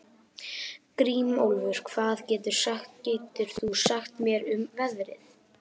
Grímólfur, hvað geturðu sagt mér um veðrið?